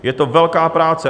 Je to velká práce.